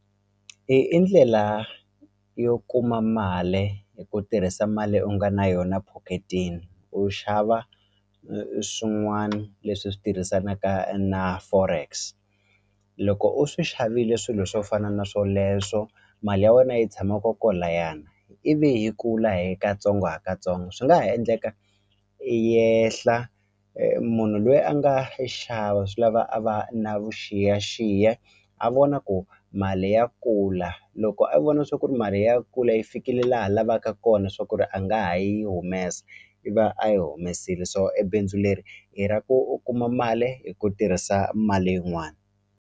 I i ndlela yo kuma mali hi ku tirhisa mali u nga na yona pocket-eni u xava swin'wani leswi swi tirhisanaka na forex loko u swi xavile swilo swo fana na swoleswo mali ya wena yi tshama kokwalayani ivi yi kula hi katsongo hi katsongo swi nga ha endleka yi yehla munhu loyi a nga xava swi lava a va na vuxiyaxiya a vona ku mali ya kula loko a vona swa ku ri mali ya kula yi fikile laha a lavaka kona swa ku ri a nga ha yi humesa i va a yi humesile so e bindzu leri i ra ku u kuma mali hi ku tirhisa mali yin'wani.